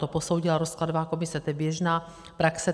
To posoudila rozkladová komise, to je běžná praxe.